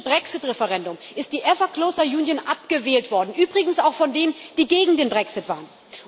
Im britischen Brexit Referendum ist die ever closer union abgewählt worden, übrigens auch von denen, die gegen den Brexit waren.